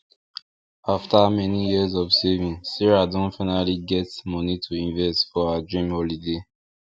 after many years of saving sarah don finally get money to invest for her dream holiday